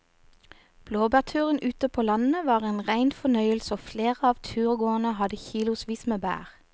Blåbærturen ute på landet var en rein fornøyelse og flere av turgåerene hadde kilosvis med bær.